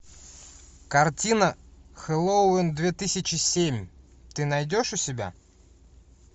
картина хэллоуин две тысячи семь ты найдешь у себя